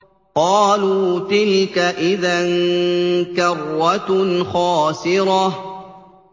قَالُوا تِلْكَ إِذًا كَرَّةٌ خَاسِرَةٌ